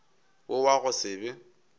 wo wa go se be